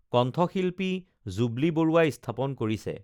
কণ্ঠশিল্পী জুবলি বৰুৱাই স্থাপন কৰিছে